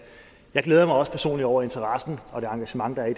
jeg glæder mig også personligt over interessen og det engagement der er i